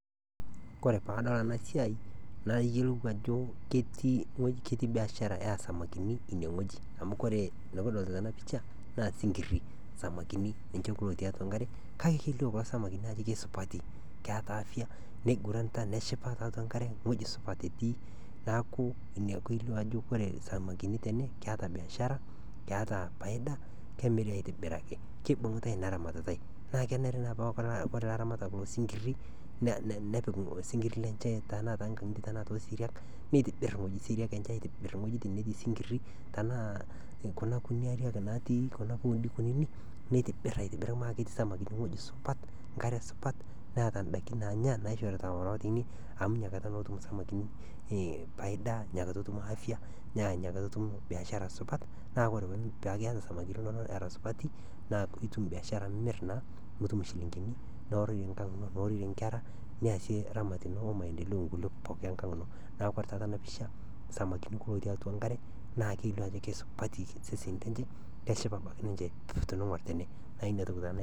Wore pee adol enasiai mayiolou ajo ketii biashara oo samakinj ineweji amu wore nikidolita tena pisha naa ii samakini. Ninje kulo otii atua enkare kake kelio kulo samakini ajo kisupati keeta afya, neinguranita neshipa tiatua enkare eweji supat etii. Niaku ina peyolou ajo wore samakini tene keeta biashara, keeta faida kemiri aitobiraki, kebungitai inaramatatai naa wore eramatata oo singiri nepiki osingir lenye tenakata oosiriak netibir wejitin oosiriak aitobir iwejitin oo singiri tenaa kuna kuti ariak natii kuna pooni kuninik nitibir , aitobiraki samakini eweji supat, enkare supat neeta indaikin naanya naishorita kulo aatuni, amu inakataa ake etum isamakini ee faida inakataa etum afya, naa inakataa etum biashara supat naa wore piaku keeta samakini supati na itum biashara amu imir naa nitum ishilingini. Naa wore inkera niasie iramatie oomaendeleo kulie enkang ino. Niaku wore taata enapisha samakini ootii atua enkare naa kelio ajo kesupatu iseseni lenje, kelio ake ninje tenigor tene.